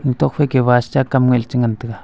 tuak fai bus cha kam le che ngan tai ga.